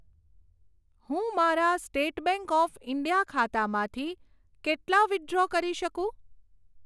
હું મારા state bank of India ખાતામાંથી કેટલા વિથડ્રો કરી શકું?